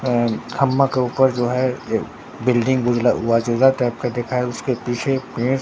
अह ख़म्मा के ऊपर जो है ये बिल्डिंग टाइप का उसके पीछे एक पेड़--